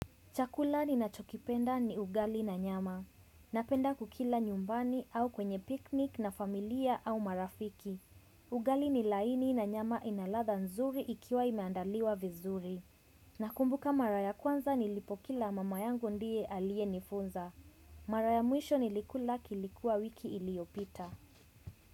Chakula nina chokipenda ni ugali na nyama. Napenda kukila nyumbani au kwenye piknik na familia au marafiki. Ugali ni laini na nyama ina ladha nzuri ikiwa imeandaliwa vizuri. Nakumbuka mara ya kwanza nilipokila mama yangu ndiye alie nifunza. Maraya muisho nilikula kilikua wiki iliopita.